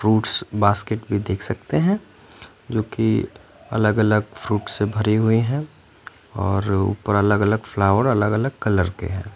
Roots basket भी देख सकते हैं जोकि अलग अलग फ्रूट्स से भरे हुए हैं और ऊपर अलग अलग फलॉवर कलर के हैं।